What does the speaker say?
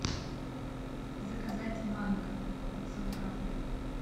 заказать манго пятьсот грамм